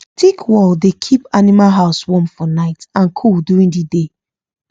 thick wall dey keep animal house warm for night and cool during the day